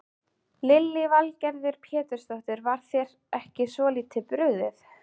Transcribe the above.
Lillý Valgerður Pétursdóttir: Var þér ekki svolítið brugðið?